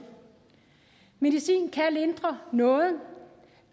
medicin kan lindre noget